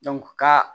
ka